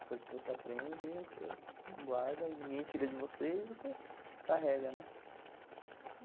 As coisas que você aprende, você guarda e ninguém tira de você e você carrega, né?